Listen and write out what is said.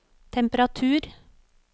temperatur